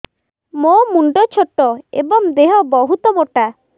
ମୋ ମୁଣ୍ଡ ଛୋଟ ଏଵଂ ଦେହ ବହୁତ ମୋଟା